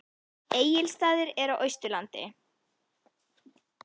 Egilsstaðir eru á Austurlandi.